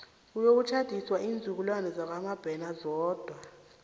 kuyokuhlatjiswa iinzukulwana zakwamabena zodwa